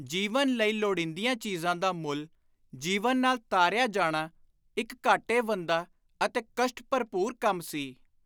ਜੀਵਨ ਲਈ ਲੋੜੀਂਦੀਆਂ ‘ਚੀਜ਼ਾਂ’ ਦਾ ਮੁੱਲ ‘ਜੀਵਨ’ ਨਾਲ ਤਾਰਿਆ ਜਾਣਾ ਇਕ ਘਾਟੇਵੰਦਾ ਅਤੇ ਕਸ਼ਟ-ਭਰਪੁਰ ਕੰਮ ਸੀ।